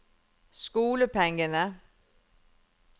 skolepengene